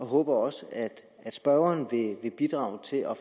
håber også at spørgeren vil bidrage til at